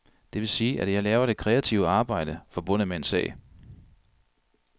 Det vil sige, at jeg laver det kreative arbejde forbundet med en sag.